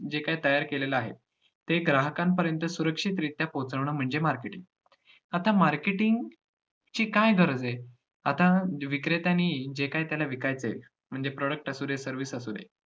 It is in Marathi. जे काय तयार केलेलं आहे, ते ग्राहकांपर्यंत सुरक्षितरित्या पोहचवणं म्हणजे marketing. आता marketing ची काय गरज आहे? आता विक्रेत्यांनी जे काही त्याला विकायच आहे म्हणजे product असुदे service असुदे